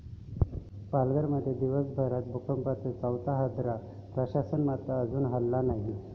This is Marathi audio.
पालघरमध्ये दिवसभरात भूकंपाचा चौथा हादरा, प्रशासन मात्र अजूनही हललं नाही!